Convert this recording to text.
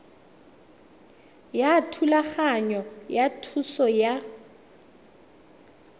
ya thulaganyo ya thuso ya